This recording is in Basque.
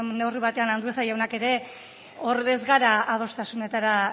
neurri batean andueza jaunak ere hor ez gara adostasunetara